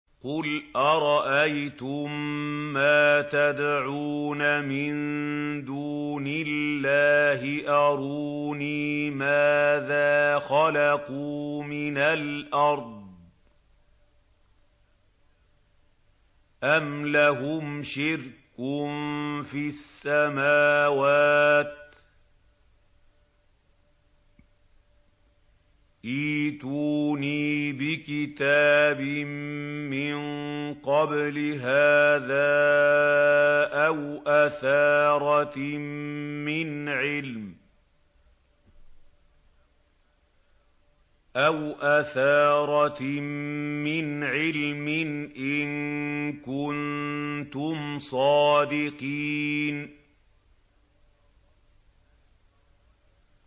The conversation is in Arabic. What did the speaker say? قُلْ أَرَأَيْتُم مَّا تَدْعُونَ مِن دُونِ اللَّهِ أَرُونِي مَاذَا خَلَقُوا مِنَ الْأَرْضِ أَمْ لَهُمْ شِرْكٌ فِي السَّمَاوَاتِ ۖ ائْتُونِي بِكِتَابٍ مِّن قَبْلِ هَٰذَا أَوْ أَثَارَةٍ مِّنْ عِلْمٍ إِن كُنتُمْ صَادِقِينَ